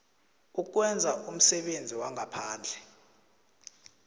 ukwenza umsebenzi wangaphandle